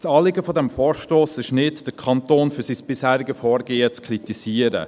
Das Anliegen des Vorstosses ist es nicht, den Kanton für sein bisheriges Vorgehen zu kritisieren.